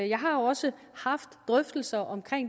jeg har jo også haft drøftelser om